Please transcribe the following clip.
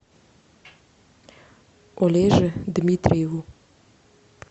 олеже дмитриеву